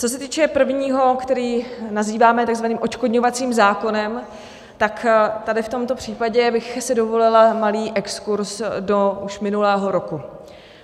Co se týče prvního, který nazýváme takzvaným odškodňovacím zákonem, tak tady v tomto případě bych si dovolila malý exkurz do už minulého roku.